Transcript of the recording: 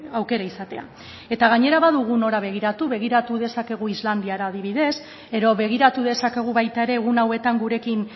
aukera izatea eta gainera badugu nora begiratu begiratu dezakegu islandiara adibidez edo begiratu dezakegu baita ere egun hauetan gurekin